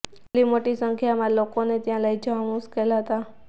આટલી મોટી સંખ્યામાં લોકોને ત્યાં લઈ જવા મુશ્કેલ હતા